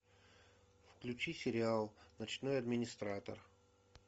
включи сериал ночной администратор